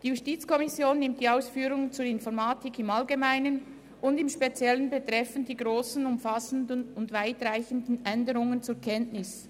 Die JuKo nimmt die Ausführungen zur Informatik im Allgemeinen und im Speziellen betreffend die grossen, umfassenden und weitreichenden Änderungen zur Kenntnis.